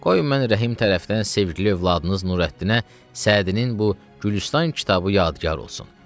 Qoy mən Rəhim tərəfdən sevgili övladınız Nurəddinə Sədinin bu Gülüstan kitabı yadigar olsun.